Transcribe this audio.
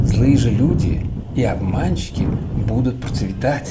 злые же люди и обманщики будут процветать